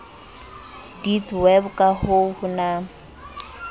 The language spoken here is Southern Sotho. deedsweb ka ha ho na